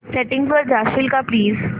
settings वर जाशील का प्लीज